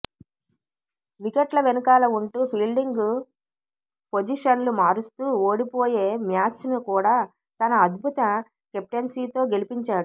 వికెట్ల వెనుకాల ఉంటూ ఫీల్డింగ్ పోజిషన్లు మారుస్తూ ఓడిపోయే మ్యాచ్ను కూడా తన అద్భుత కెప్టెన్సీతో గెలపించాడు